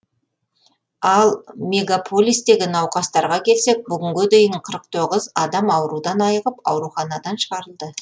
ал мегаполистегі науқастарға келсек бүгінге дейін қырық тоғыз адам аурудан айығып ауруханадан шығарылды